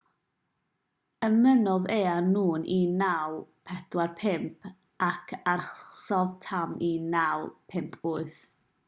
ymunodd e â nhw ym 1945 ac arhosodd tan 1958